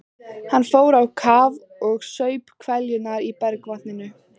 Hann fór á kaf og saup hveljur í bergvatninu.